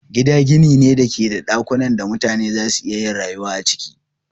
Gida gini ne da ke da dakunan da mutane za su iya yin rayuwa a ciki.